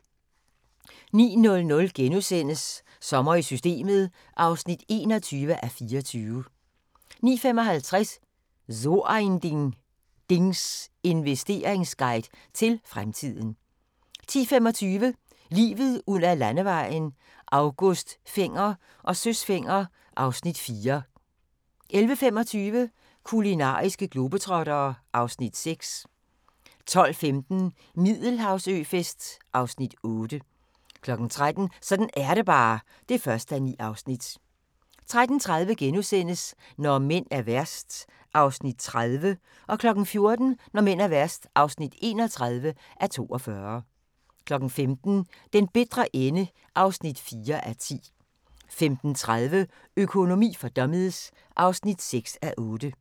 09:00: Sommer i Systemet (21:24)* 09:55: So ein Ding: Dings Investerings-guide til fremtiden 10:25: Livet ud ad Landevejen: August Fenger og Søs Fenger (Afs. 4) 11:25: Kulinariske globetrottere (Afs. 6) 12:15: Middelhavsøfest (Afs. 8) 13:00: Sådan er det bare (1:9) 13:30: Når mænd er værst (30:42)* 14:00: Når mænd er værst (31:42) 15:00: Den bitre ende (4:10) 15:30: Økonomi for dummies (6:8)